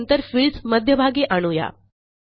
आणि नंतर फील्ड्स मध्यभागी आणू या